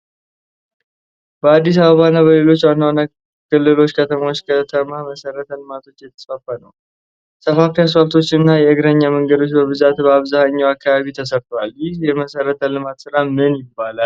በአዲስ አበባ እና በሌሎች ዋና ዋና ክልል ከተሞች ከተማ መሰረተ ልማቶች እየተስፋፉ ነው። ሰፋፊ አስፓልቶች እና የእግረኛ መንገዶች በብዛት በአብዛኛው አካባቢ ተሰርተዋል። ይህ የመሰረተ ልማት ስራ ምን ይባላል?